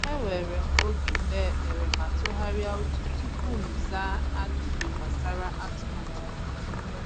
Ewere m oge kpee ekpere ma tụgharịa uche tupu m zaa ajụjụ gbasara atụmatụ m.